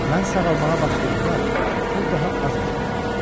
Mən sağalmağa başlayanda o daha az-az görünürdü.